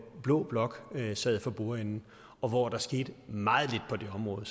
blå blok sad for bordenden og hvor der skete meget lidt på det område